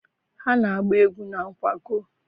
Ha na-agba egwu na nkwago?